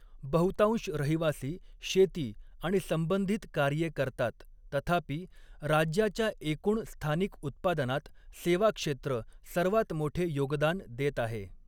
बहुतांश रहिवासी शेती आणि संबंधित कार्ये करतात, तथापि राज्याच्या एकूण स्थानिक उत्पादनात सेवा क्षेत्र सर्वात मोठे योगदान देत आहे.